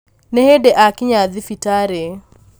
nĩ hĩndĩ akinya thibitarĩ